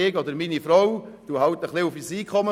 ich oder meine Frau verzichten auf Einkommen.